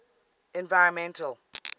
environmental